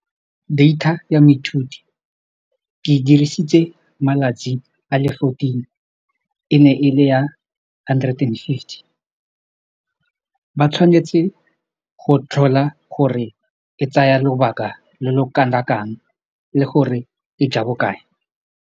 Data ya moithuti ke dirisitse malatsi a le fourteen, e ne e le ya hundred and fifty ba tshwanetse go tlhola gore e tsaya lobaka lo lo kana kang le gore e ja bokae.